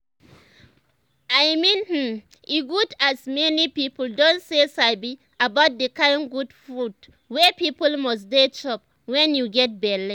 i meanhmmm e good as many people don dey sabi about the kind good food wey people must dey chop when you get belle